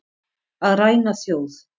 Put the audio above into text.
Að ræna þjóð